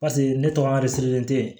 Paseke ne tɔgɔ de